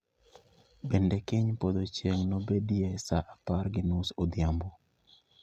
Bende kiny podho chieng' nobedie sa apar gi nus odhiambo